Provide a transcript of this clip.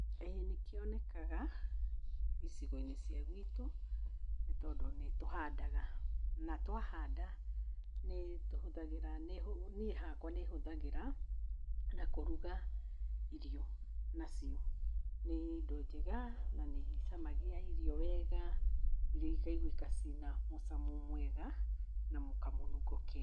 ĩĩ nĩkĩonekaga icigo-inĩ cia gwitũ, nĩ tondũ nĩtũhandaga. Na twahanda nĩtũhũthagĩra, niĩ hakwa nĩhũthagĩra na kũruga irio nacio. Nĩ indo njega na nĩicamagia irio wega, irio ikaiguĩka cina mũcamo mwega na kamũnungo kega.